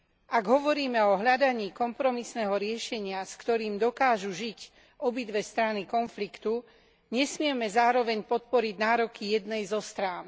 Ak hovoríme o hľadaní kompromisného riešenia, s ktorým dokážu žiť obidve strany konfliktu, nesmieme zároveň podporiť nároky jednej zo strán.